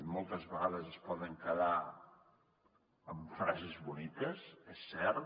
moltes vegades ens podem quedar en frases boniques és cert